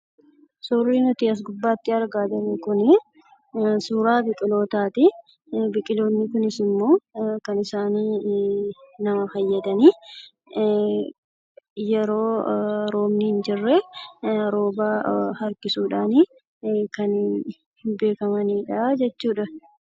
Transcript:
Suurri nuti as gubbaatti argaa jirru kunii suuraa biqilootaatii. Biqiloonni kunis ammoo kan isaan nama fayyadaniif, yeroo roobni hinjirree rooba harkisuudhanii kan beekamanidha jechuudha.